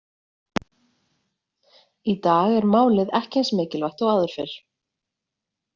Í dag er málið ekki eins mikilvægt og áður fyrr.